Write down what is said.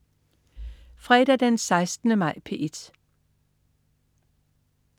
Fredag den 16. maj - P1: